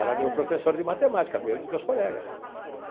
Era meu professor de matemática, meu e de meus colegas.